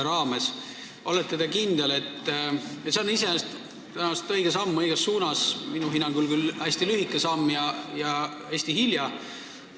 See on tõenäoliselt õige samm õiges suunas, ehkki minu hinnangul küll hästi lühike ja hästi hilja tehtud samm.